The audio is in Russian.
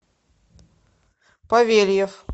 павельев